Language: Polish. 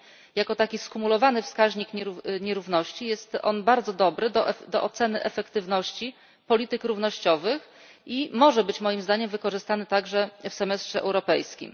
I jako taki skumulowany wskaźnik nierówności jest on bardzo dobry do oceny efektywności polityk równościowych i może być, moim zdaniem, wykorzystany także w semestrze europejskim.